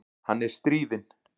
Hann er stríðinn.